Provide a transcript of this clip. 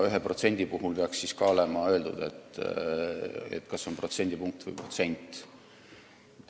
1% puhul peaks olema öeldud, kas see on protsendipunkt või protsent.